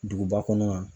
Duguba kɔnɔ yan